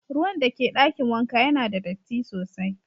Ruwan da ke dakin wanka Yana da datti sosai.